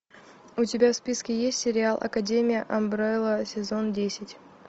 у тебя в списке есть сериал академия амбрелла сезон десять